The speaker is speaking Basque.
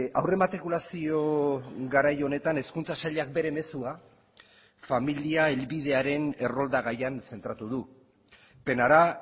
aurrematrikulazio garai honetan hezkuntza sailak bere mezua familia helbidearen errolda gaian zentratu du penará